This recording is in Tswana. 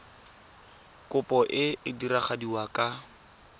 kopo e e diragadiwa ka